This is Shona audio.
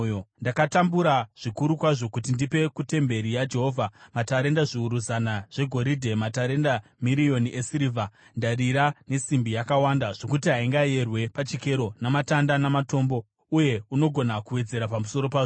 “Ndakatambura zvikuru kwazvo kuti ndipe kutemberi yaJehovha matarenda zviuru zana zvegoridhe, matarenda miriyoni esirivha, ndarira nesimbi yakawanda zvokuti haingayerwe pachikero, namatanda namatombo. Uye unogona kuwedzera pamusoro pazvo.